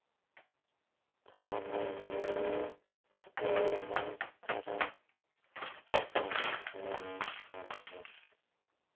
Það var jú auðveldara en að vinna sjálfur.